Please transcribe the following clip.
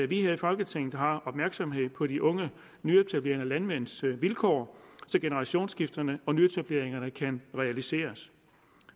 vi her i folketinget har opmærksomhed på de unge nyetablerende landmænds vilkår til generationsskifterne og nyetableringerne kan realiseres